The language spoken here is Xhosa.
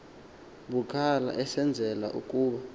bucala esenzela ukuba